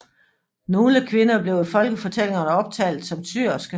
Nogle kvinder blev i folketællingerne optalt som syerske